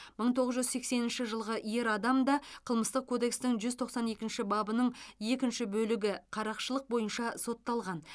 мың тоғыз жүз сексенінші жылғы ер адам да қылмыстық кодекстің жүз тоқсан екінші бабының екінші бөлігі қарақшылық бойынша сотталған